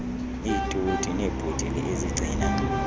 iitoti neebhotile ezigcina